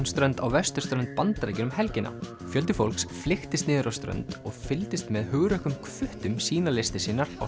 strönd á vesturströnd Bandaríkjanna um helgina fjöldi fólks flykktist niður á strönd og fylgdist með hugrökkum sýna listir sínar á